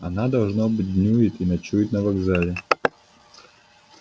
она должно быть днюет и ночует на вокзале